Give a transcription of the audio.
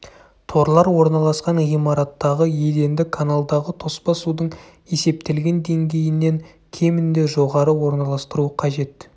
торлар орналасқан ғимараттағы еденді каналдағы тоспа судың есептелген деңгейінен кемінде жоғары орналастыру қажет